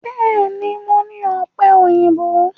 Bẹ́ẹ̀ ni, mo ní ọ̀pẹ̀-òyìnbó.